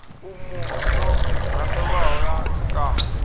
umu yo randelwaho ya zwikambi